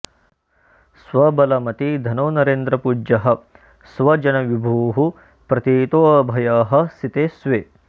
स्व बल मति धनो नरेन्द्र पूज्यः स्व जन विभुः प्रथितोऽभयः सिते स्वे